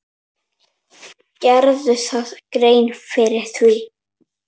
Gerirðu þér grein fyrir því?